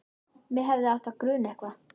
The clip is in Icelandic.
Mig hefði átt að gruna eitthvað.